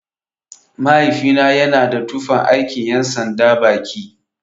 Mahaifina yana da tufan aikin ƴan sanda baki.